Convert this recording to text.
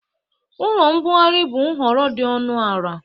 Ụlọ mbugharị bụ nhọrọ dị ọnụ ala.